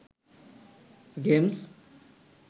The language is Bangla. গেমস্